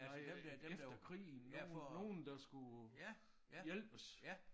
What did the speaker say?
Nej øh efter krigen nogle nogle der skulle hjælpes